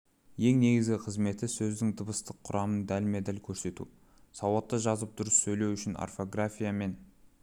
ең негізгі қызметі сөздің дыбыстық құрамын дәлме-дәл көрсету сауатты жазып дұрыс сөйлеу үшін орфография мен